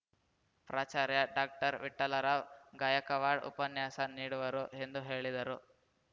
ಪ್ರಾಚಾರ್ಯ ಡಾಕ್ಟರ್ವಿಠ್ಠಲರಾವ್‌ ಗಾಯಕವಾಡ್‌ ಉಪನ್ಯಾಸ ನೀಡುವರು ಎಂದು ಹೇಳಿದರು